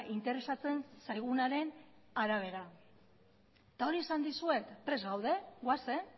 interesatzen zaigunaren arabera eta hori esan dizuet prest gaude goazen